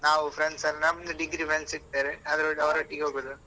ನಾವು friends ಎಲ್ಲ ನಮ್ದು degree friends ಸಿಕ್ತಾರೆ ಅವರೊಟ್ಟಿಗೆ ಹೋಗುದು.